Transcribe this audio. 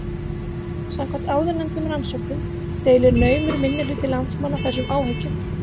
Samkvæmt áðurnefndum rannsóknum deilir naumur minnihluti landsmanna þessum áhyggjum.